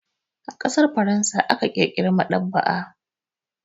A ƙasar Faransa aka ƙirƙira maɗaba'a.